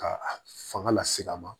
Ka a fanga lase a ma